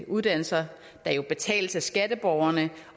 uddannelser der jo betales af skatteborgerne